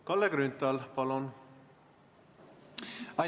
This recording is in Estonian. Kalle Grünthal, palun!